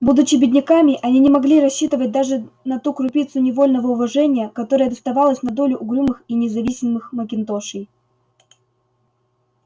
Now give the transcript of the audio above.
будучи бедняками они не могли рассчитывать даже на ту крупицу невольного уважения которая доставалась на долю угрюмых и независимых макинтошей